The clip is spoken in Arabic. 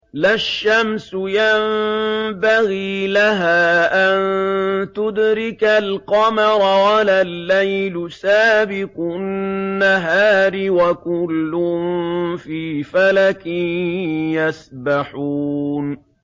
لَا الشَّمْسُ يَنبَغِي لَهَا أَن تُدْرِكَ الْقَمَرَ وَلَا اللَّيْلُ سَابِقُ النَّهَارِ ۚ وَكُلٌّ فِي فَلَكٍ يَسْبَحُونَ